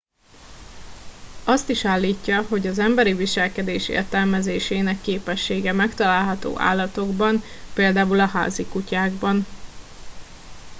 azt is állítja hogy az emberi viselkedés értelmezésének képessége megtalálható állatokban például a házi kutyákban